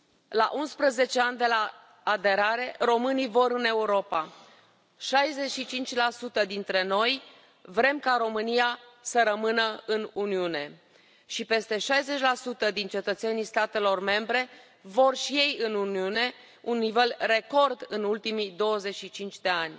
La 11 ani de la aderare, românii vor în Europa 65 la sută dintre noi vrem ca România să rămână în Uniune și peste 60 din cetățenii statelor membre vor și ei în Uniune un nivel record în ultimii 25 de ani.